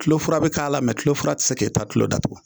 Tulofura bɛ k'a la tulofura tɛ se ka e ta tulo datugu